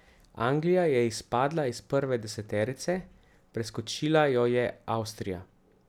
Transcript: Anglija je izpadla iz prve deseterice, preskočila jo je Avstrija.